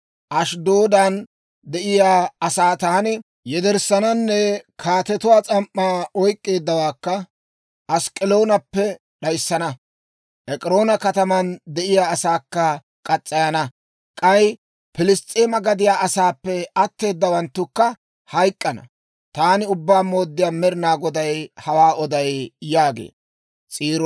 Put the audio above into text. Ashddoodan de'iyaa asaa taani yederssananne kaatetuwaa s'am"aa oyk'k'eeddawaakka Ask'k'elonappe d'ayissana. Ek'iroona kataman de'iyaa asaakka murana; k'ay Piliss's'eema gadiyaa asaappe atteedawanttukka hayk'k'ana. Taani Ubbaa Mooddiyaa Med'inaa Goday hawaa oday» yaagee.